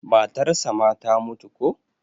matarsa ma ta mutu ko?